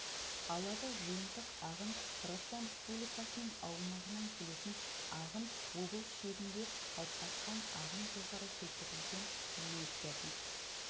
алабы жиынтық ағын қырғызстан республикасының аумағынан келетін ағын облыс шегінде қалыптасатын ағын жоғарыда келтірілген мәліметтерден